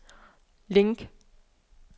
link